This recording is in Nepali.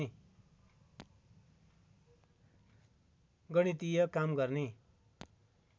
गणितिय काम गर्ने